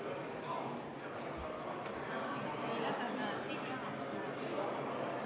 Käsil on eelnõu 703 lõpphääletus.